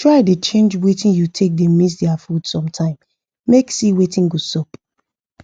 try da change watin u take da mix their food sometime make see watin go sup